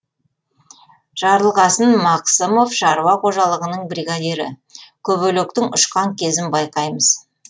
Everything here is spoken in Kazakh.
жарылқасын мақсымов шаруа қожалығының бригадирі көбелектің ұшқан кезін байқаймыз